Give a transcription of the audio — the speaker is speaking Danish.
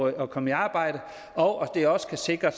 at komme i arbejde og at det også skal sikre